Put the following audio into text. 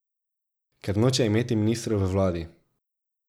Ker noče imeti ministrov v vladi.